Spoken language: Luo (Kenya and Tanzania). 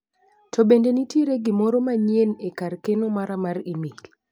To bende nitiere gimoro manyien e kar keno mara mar imel?